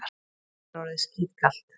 Mér er orðið skítkalt.